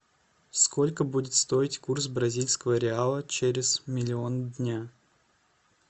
сколько будет стоить курс бразильского реала через миллион дня